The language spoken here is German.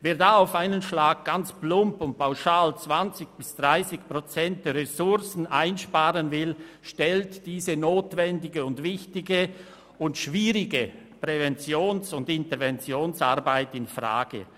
Wer da auf einen Schlag plump und pauschal 20 bis 30 Prozent der Ressourcen einsparen will, stellt diese notwendige, wichtige und schwierige Präventions- und Interventionsarbeit infrage.